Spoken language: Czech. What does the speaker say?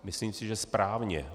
Myslím si, že správně.